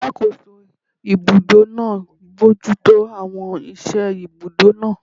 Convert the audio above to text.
Alàkóso ibùdó náà bojútó àwọn iṣẹ́ ibùdó náà